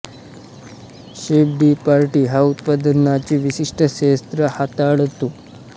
chef de partie हा उत्पादनाचे विशिष्ट क्षेत्र हाताळतो